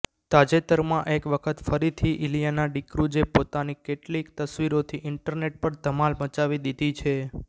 તાજેતરમાં એક વખત ફરીથી ઇલિયાના ડિક્રુઝે પોતાની કેટલીક તસ્વીરોથી ઈંટરનેટ પર ધમાલ મચાવી દીધી છે